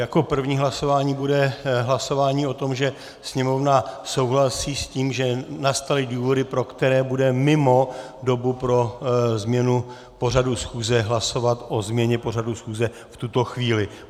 Jako první hlasování bude hlasování o tom, že Sněmovna souhlasí s tím, že nastaly důvody, pro které bude mimo dobu pro změnu pořadu schůze hlasovat o změně pořadu schůze v tuto chvíli.